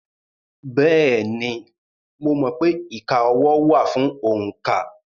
Bẹ́ẹ̀ni, mo mọ̀ pé ìka ọwọ́ wà fún òǹkà.